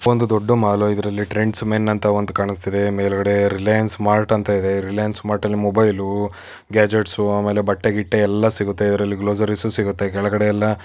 ಒಂದು ದೊಡ್ಡು ಮಾಲ್ ಇದ್ರಲ್ಲಿ ಟ್ರೆಂಡ್ಸ್ ಮೆನ್ ಅಂತ ಒಂದು ಕಾಣ್ಸ್ತ ಇದೆ ಮೇಲ್ಗಡೆ ರಿಲಯನ್ಸ್ ಮಾರ್ಟ್ ಅಂತ ಇದೆ ರಿಲಯನ್ಸ್ ಮಾರ್ಟ್ ಮೊಬೈಲು ಗ್ಯಾಜೆಟ್ಸ್ ಆಮೇಲೆ ಬಟ್ಟೆ ಗಿಟ್ಟೆ ಎಲ್ಲ ಸಿಗುತ್ತೆ ಅದ್ರಲ್ಲಿ ಗ್ರೋಸರಿಯೆಸ್ ಸಿಗುತ್ತೆ ಕೆಳಗಡೆ ಎಲ್ಲಾ --